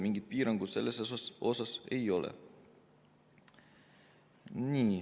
Mingit piirangut selle kohta ei ole.